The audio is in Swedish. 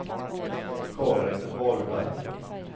Karin Wahlberg